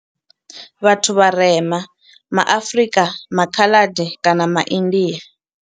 Vhathu vharema ma Afrika, MA Khaladi kana MA India.